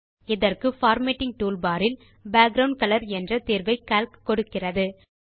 இதற்கு formatting toolbar இல் background colour என்ற தேர்வை கால்க் கொடுக்கிறது